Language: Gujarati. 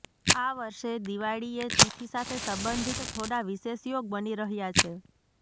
આ વર્ષે દિવાળીએ તિથિ સાથે સંબંધિત થોડાં વિશેષ યોગ બની રહ્યા છે